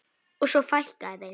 Og svo fækkaði þeim.